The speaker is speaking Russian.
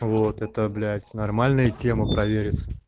вот это блять нормальная тема провериться